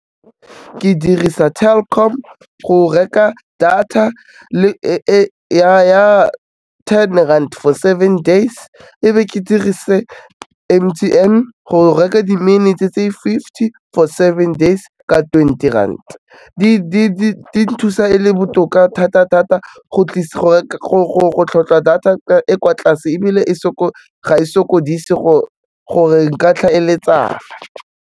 Ke dirisa Telkom go reka data ya ten rand for seven days, e be ke dirise M_T_N go reka di-minutes-e tse fifty for seven days ka twenty rand. Di nthusa e le botoka thata-thata go tlhoka data e kwa tlase, ebile ga e sokodise gore nka tlhaeletsana.